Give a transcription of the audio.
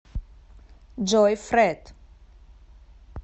джой фред